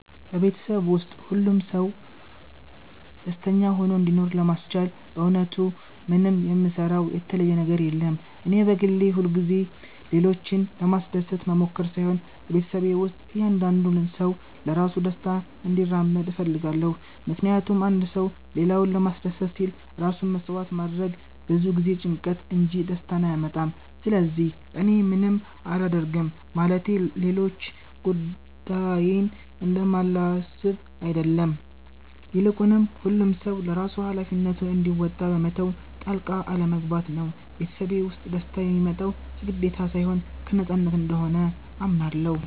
በቤተሰቤ ውስጥ ሁሉም ሰው ደስተኛ ሆኖ እንዲኖር ለማስቻል በእውነቱ ምንም የምሰራው የተለየ ነገር የለም። እኔ በግሌ ሁልጊዜ ሌሎችን ለማስደሰት መሞከር ሳይሆን በቤተሰቤ ውስጥ እያንዳንዱ ሰው ለራሱ ደስታ እንዲራመድ እፈልጋለሁ። ምክንያቱም አንድ ሰው ሌላውን ለማስደሰት ሲል ራሱን መሥዋዕት ማድረጉ ብዙ ጊዜ ጭንቀትን እንጂ ደስታን አያመጣም። ስለዚህ እኔ ምንም አላደርግም ማለቴ ሌሎች ጉዳዬን እንደማላስብ አይደለም፤ ይልቁኑ ሁሉም ሰው ለራሱ ሃላፊነቱን እንዲወጣ በመተው ጣልቃ አለመግባት ነው። ቤተሰቤ ውስጥ ደስታ የሚመጣው ከግዴታ ሳይሆን ከነፃነት እንደሆነ አምናለሁ።